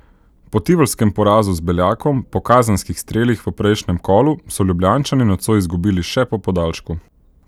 Po tivolskem porazu z Beljakom po kazenskih strelih v prejšnjem kolu so Ljubljančani nocoj izgubili še po podaljšku.